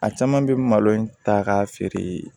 A caman bɛ malo in ta k'a feere